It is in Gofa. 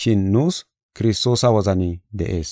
Shin nuus Kiristoosa wozani de7ees.